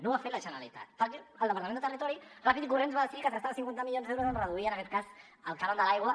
no ho ha fet la generalitat perquè el departament de territori ràpid i corrents va decidir que es gastava cinquanta milions d’euros en reduir en aquest cas el cànon de l’aigua